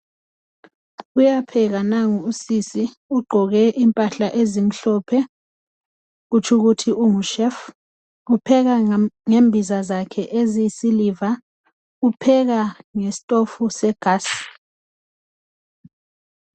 Uyapheka nangu usisi ugqoke impahla ezimhlophe kutsho ukuthi ungushefu upheka ngembiza zakhe eziyisiliva upheka ngesitofu segasi.